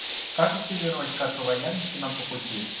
как активировать карту лояльности нам по пути